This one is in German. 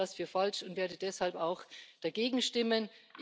Ich halte das für falsch und werde deshalb auch dagegen stimmen.